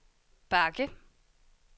bakke